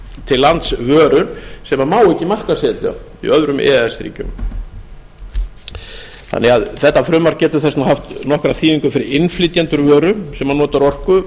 til lands vörur sem má ekki markaðssetja í öðrum e e s ríkjum þetta frumvarp getur þess vegna haft nokkra þýðingu fyrir innflytjendur vöru sem notar orku